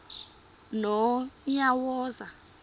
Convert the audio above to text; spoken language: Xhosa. nonyawoza